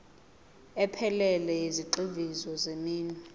ephelele yezigxivizo zeminwe